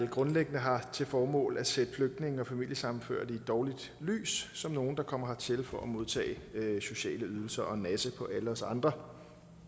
grundlæggende har til formål at sætte flygtninge og familiesammenførte i et dårligt lys som nogle der kommer hertil for at modtage sociale ydelser og nasse på alle os andre